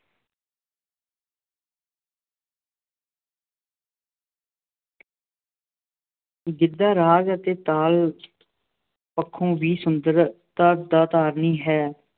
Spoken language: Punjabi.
ਗਿੱਧਾ ਰਾਗ ਅਤੇ ਤਾਲ ਪੱਖੋਂ ਵੀ ਸੁਤੰਤਰਤਾ ਦਾ ਧਾਰਨੀ ਹੈ,